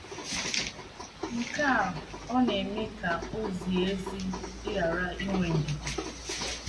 Nke a ọ̀ na - eme ka o zie ezi ịghara inwe ndidi?